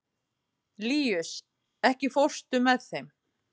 Líus, ekki fórstu með þeim?